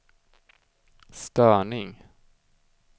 störning